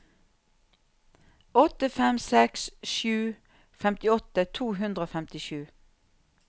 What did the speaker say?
åtte fem seks sju femtiåtte to hundre og femtisju